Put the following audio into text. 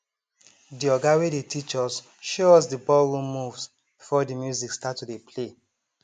de oga wey dey teach us show us de ballroom moves before de music start to dey play